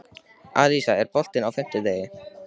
Alisa, er bolti á fimmtudaginn?